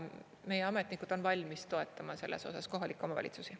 Meie ametnikud on valmis toetama selles osas kohalikke omavalitsusi.